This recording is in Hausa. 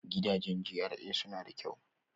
Gidajen GRA suna da kyau.